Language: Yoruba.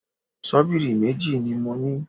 Ṣọ́bìrì méjì ni mo ní